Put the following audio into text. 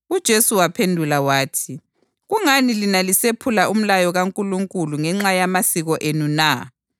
UJesu waphendula wathi, “Kungani lina lisephula umlayo kaNkulunkulu ngenxa yamasiko enu na?